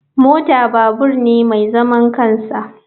Mota babur ne mai zaman kansa.